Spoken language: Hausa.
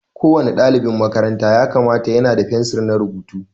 Ko wani ɗalibin makaranta ya kamata ya na da fensir na rubutu.